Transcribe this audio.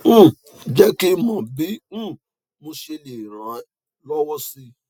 um je ki mo bi um mo se le rane lowo si